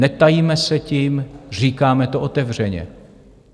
Netajíme se tím, říkáme to otevřeně.